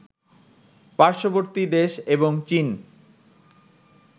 পার্শ্ববর্তী দেশ এবং চীন